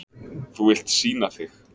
Þú vilt sýna þig.